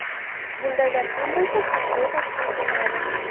Bundaylar kam bo‘lsa, Haj kvotasi ham kamayadi.